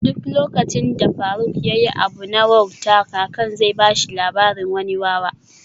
Duk lokacin da faruk yayi wani abu na wauta kakan zai bashi labarin wani wawa